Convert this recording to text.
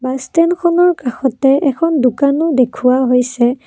ষ্টেণ্ডখনৰ কাষতে এখন দোকানো দেখুওৱা হৈছে।